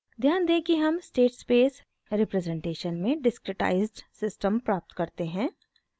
ध्यान दें कि हम स्टेट स्पेस रिप्रजेंटेशन में डिस्क्रिटाइज़्ड सिस्टम प्राप्त करते हैं